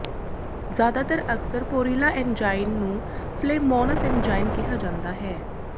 ਜ਼ਿਆਦਾਤਰ ਅਕਸਰ ਪੋਰਿਲਾ ਐਨਜਾਈਨ ਨੂੰ ਫਲੇਮੋਨਸ ਐਨਜਾਈਨ ਕਿਹਾ ਜਾਂਦਾ ਹੈ